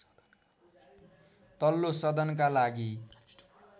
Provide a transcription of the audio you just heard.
तल्लो सदनका लागि